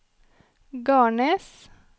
Garnes